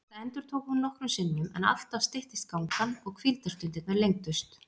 Þetta endurtók hún nokkrum sinnum en alltaf styttist gangan og hvíldarstundirnar lengdust.